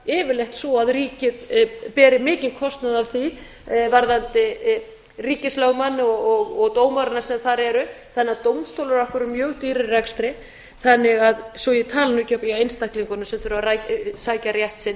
yfirleitt svo að ríkið beri mikinn kostnað af því varðandi ríkislögmann og dómarana sem þar eru þannig að dómstólar okkar eru mjög dýrir í rekstri svo ég tali nú ekki um hjá einstaklingunum sem þurfa að sækja rétt sinn